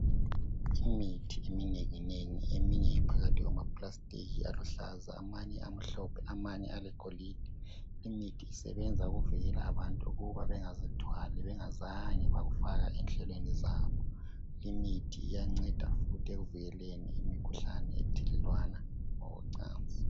imithi eminenginengi eminye iphakathi kwamaplastic aluhlaza amanye amhlophe amanye alegolide imithi isebenza ukuvikela abantu ukuba bengazithwali bengazange bakufaka enhlelweni zabo imithi iyaneda futhi ekuvikeleni imikhuhlane ethelelwana ngokocansi